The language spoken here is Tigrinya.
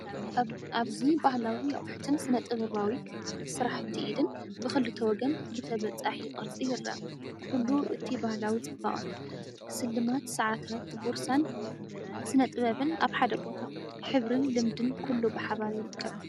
ኣብዚ ባህላዊ ኣቑሑትን ስነ-ጥበባዊ ስርሓት ኢድን ብኽልተ ወገን ብተበጻሒ ቅርጺ ይረአ። ኩሉ እቲ ባህላዊ ጽባቐ! ስልማት፡ ሰዓታት፡ ቦርሳን ስነ ጥበብን ኣብ ሓደ ቦታ። ሕብርን ልምድን ኩሉ ብሓባር ይርከብ።